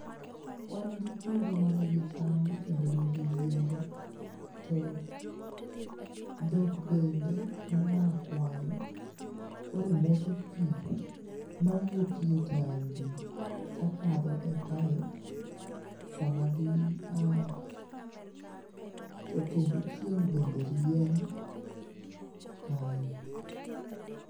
Wan gi puodho ma nigi cham kendo nigi yiende, to dhok bende moa kwayo koro modho pii, mawuokie tangi kakadho e pipe sama gi a to kendo chieng' bende rieny, kae